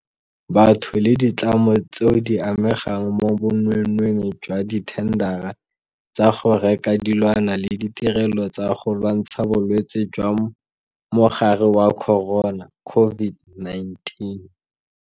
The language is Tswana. Batho le ditlamo tseo di amegang mo bonweenweeng jwa dithendara tsa go reka dilwana le ditirelo tsa go lwantsha Bolwetse jwa Mogare wa Corona COVID-19.